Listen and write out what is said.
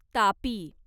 Tapi